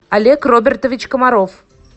олег робертович комаров